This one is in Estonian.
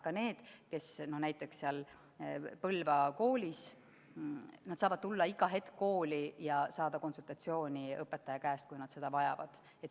Ka need, kes on näiteks Põlva koolis, saavad tulla iga hetk kooli ja saada õpetajalt konsultatsiooni, kui nad seda vajavad.